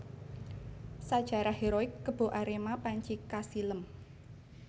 Sajarah heroik Kebo Arema panci kasilem